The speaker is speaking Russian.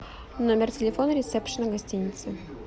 номер телефона ресепшена гостиницы